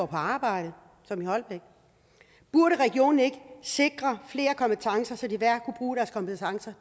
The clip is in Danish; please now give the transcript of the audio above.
på arbejde som i holbæk burde regionen ikke sikre flere kompetencer så de hver kunne bruge deres kompetencer